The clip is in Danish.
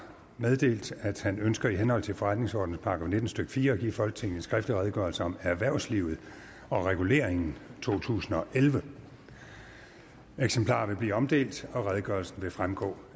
meddelt at han ønsker i henhold til forretningsordenens § nitten stykke fire at give folketinget en skriftlig redegørelse om erhvervslivet og reguleringen totusinde og ellevte eksemplarer vil blive omdelt og redegørelsen vil fremgå